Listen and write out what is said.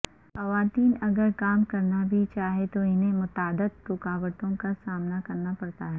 خواتین اگر کام کرنا بھی چاہیں تو انھیں متعدد رکاوٹوں کا سامنا کرنا پڑتا ہے